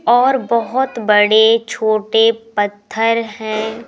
और बहुत बड़े छोटे पत्थर हैं।